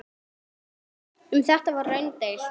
Um þetta var raunar deilt.